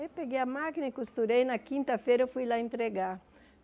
Aí eu peguei a máquina e costurei, na quinta-feira eu fui lá entregar.